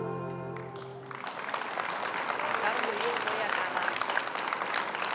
karolo ye nngwe ya karabo